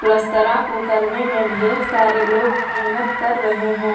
पलस्तरा को करने में ढेर सारे लोग मेहनत कर रहे हैं।